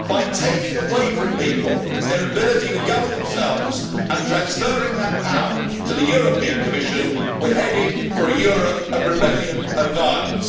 By taking away from people their ability to govern themselves and transferring that power to the European Commission, we are headed for a Europe of rebellion and violence.